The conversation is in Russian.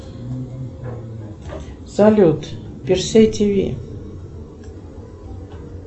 салют перси тв